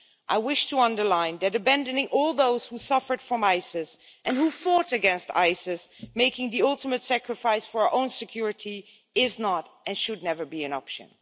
I wish to underline that abandoning all those who suffered from Isis and who fought against Isis making the ultimate sacrifice for our own security is not and should never be an option.